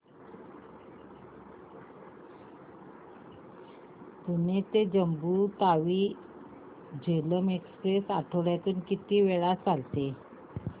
पुणे ते जम्मू तावी झेलम एक्स्प्रेस आठवड्यातून किती वेळा चालते